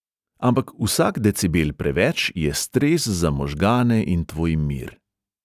Ampak vsak decibel preveč je stres za možgane in tvoj mir.